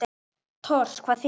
Tors. hvað þýðir það?